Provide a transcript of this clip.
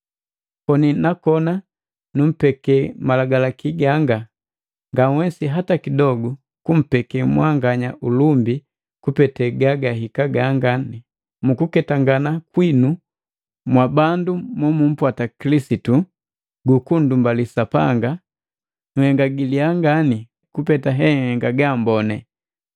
Koni nakona nummpeke malagalaki ganga, nganhwesi hata kidogu kumpeke mwanganya ulumbi kupete gagahika ganga. Mu kuketangana kwinu mwabandu mo mummpwata Kililisitu gu kunndumbali Sapanga nhenga giliya ngani kupeta enhenga gaamboni.